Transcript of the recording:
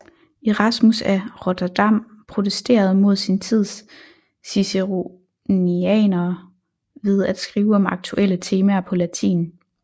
Erasmus af Rotterdam protesterede mod sin tids ciceronianere ved at skrive om aktuelle temaer på latin